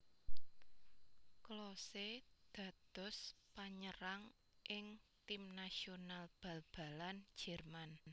Klose dados panyerang ing tim nasional bal balan Jérman